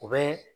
U bɛ